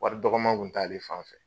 Wari dɔgɔma kun t'ale fan fɛ